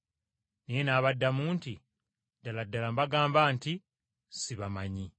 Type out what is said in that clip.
Naye n’abaddamu nti, ‘Ddala ddala mbagamba nti, sibamanyi!’